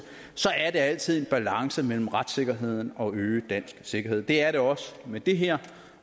at det altid er en balance mellem retssikkerheden og øget dansk sikkerhed det er det også med det her